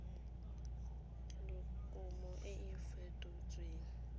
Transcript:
le kumo e e fetotsweng